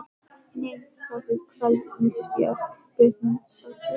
Nei það er kvöld Ísbjörg Guðmundsdóttir.